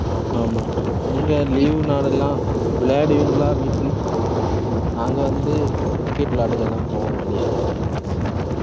ஆமாக்கா. நீங்க leave நாளெல்லாம் விளையாடுவீங்களா வீட்டில் நாங்க வந்து cricket விளையாட்டுக்குலாம் போவோம் வெளில